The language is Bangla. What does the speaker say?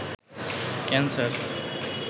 ক্যান্সার